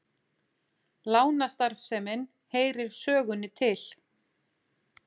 Lánastarfsemin heyrir sögunni til